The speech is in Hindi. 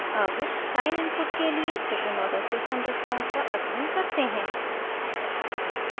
अब sine input के लिए second order system response का अध्ययन करते हैं